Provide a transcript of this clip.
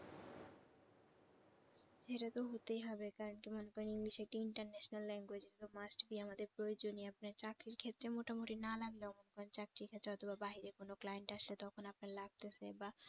সেটা তো হতেই হবে কারণ কি মনে করেন english একটা international language এটাতো must be আমাদের প্রয়োজনীয় আপনার চাকরির ক্ষেত্রে মোটামুটি না লাগলেও মনে করেন চাকরির ক্ষেত্রে অথবা বাহিরে কোন client আসছে তখন আপনার লাগতেছে বা